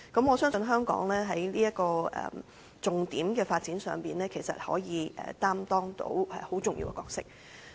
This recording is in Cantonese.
我相信，香港在這個重點的發展上，可以擔當很重要的角色。